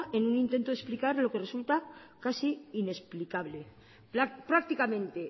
en un intento de explicar lo que resulta casi inexplicable prácticamente